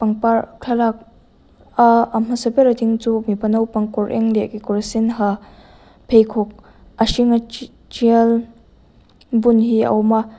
thlalak a a hmasa ber a ding chu mipa naupang kawr eng leh kekawr sen ha pheikhawk a hring a tial bun hi a awm a.